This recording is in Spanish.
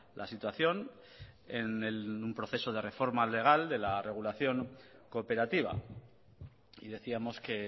la situación en un proceso de reforme legal de la regulación cooperativa y decíamos que